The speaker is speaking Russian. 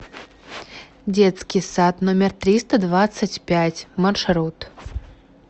детский сад номер триста двадцать пять маршрут